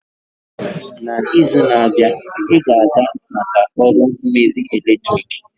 N'izu na-abịa, ị ga-aga maka ọrụ mmezi eletrik?